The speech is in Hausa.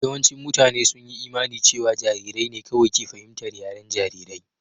Yawancin mutane sun yi imanin cewa jarirai ne kawai ke fahimtar yaren jarirai.